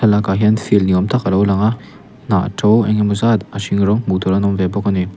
lakah hian field ni awm tak a lo lang a hnah to eng emaw zat a hring rawng hmuh tur an awm ve bawk a ni.